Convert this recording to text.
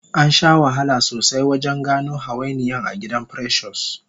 Ansha wahala sosai wajen gano hawainiyan agidan precious